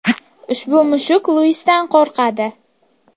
Ushbu mushuk Luisdan qo‘rqadi.